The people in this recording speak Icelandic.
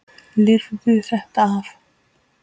Lifirðu þetta ekki af?